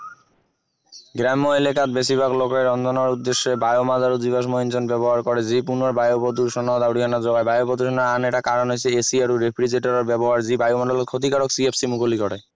গ্ৰাম্য এলেকাত বেছিভাগ লোকে ৰন্ধনৰ উদ্দশ্য়ে biomass আৰু জীৱাশ্ম ইন্ধন ব্যৱহাৰ কৰে যি পুনৰ বায়ু প্ৰদূষণত অৰিহণা যোগায় বায়ু প্ৰদূষণৰ আন এটা কাৰণ হৈছে AC আৰু refrigerator ৰ ব্যৱহাৰ যি বায়ুমণ্ডলত CFC মুকলি কৰে